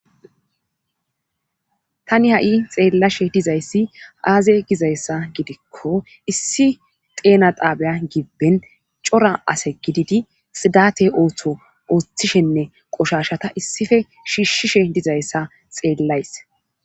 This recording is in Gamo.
tani ha'i xeellashe dizayssi aaze gizayssa gidikko issi xeena xaabiya gibben cora ase gididi xiiddate ooththo ooththishenne qoshashata issippe shiishshishe dizayssa xeellays